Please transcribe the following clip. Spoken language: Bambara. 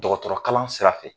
Dɔgɔtɔrɔkalan sira fɛ